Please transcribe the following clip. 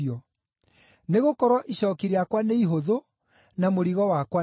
Nĩgũkorwo icooki rĩakwa nĩ ihũthũ, na mũrigo wakwa nĩ mũhũthũ.”